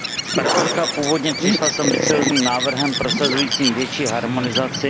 Zpravodajka původně přišla s ambiciózním návrhem prosazujícím větší harmonizaci.